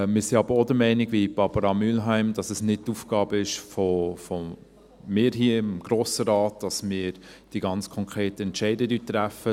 Wir sind aber auch, wie Barbara Mühlheim, der Meinung, dass es nicht die Aufgabe von uns hier im Grossen Rat ist, dass wir die ganz konkreten Entscheide treffen.